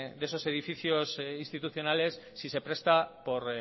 de esos edificios institucionales si se presta por